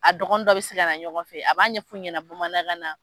A dɔgɔnin dɔ bɛ se ka na ɲɔgɔn fɛ a b'a ɲɛfɔ ɲɛnɛ bamanankan na.